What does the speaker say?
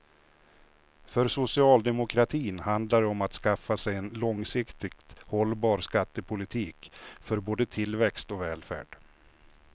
För socialdemokratin handlar det om att skaffa sig en långsiktigt hållbar skattepolitik för både tillväxt och välfärd.